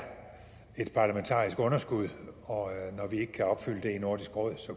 et parlamentarisk underskud og når vi ikke kan opfylde det i nordisk råd